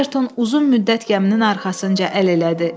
Ayerton uzun müddət gəminin arxasınca əl elədi.